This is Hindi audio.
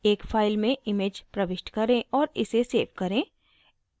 एक file में image प्रविष्ट करें और इसे सेव करें